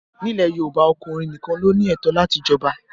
Ní ilẹ̀ Yorùbá, ọkùnrin nìkan ló ní ẹ̀tọ́ láti jọba